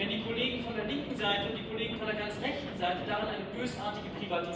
Diese Altersarmut wird in den nächsten Jahren noch ganz erheblich ansteigen.